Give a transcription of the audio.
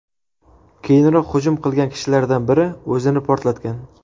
Keyinroq hujum qilgan kishilardan biri o‘zini portlatgan.